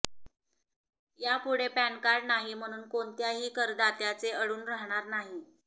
यापुढे पॅनकार्ड नाही म्हणून कोणत्याही करदात्याचे अडून राहणार नाही